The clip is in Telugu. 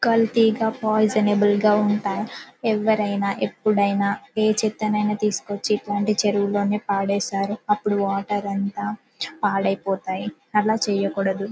కల్తీగా పాయిజనబుల్‌ గా ఉంటాయి ఎవరైనా ఎప్పుడైనా ఈ చేతనైన తీసుకువచ్చి ఇటువంటి చెరువులోనే పడేశారు అప్పుడు వాటర్ అంతా పాడైపోతాయి అట్లా చేయకూడదు.